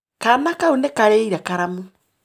Kaana kau nĩkarĩire karamu.